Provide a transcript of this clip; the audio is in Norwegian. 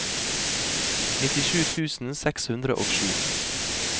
nittisju tusen seks hundre og sju